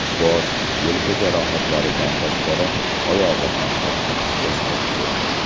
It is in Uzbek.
Bosh, yelka jarohatlaridan tashqari, oyog‘i ham qattiq shikastlangan.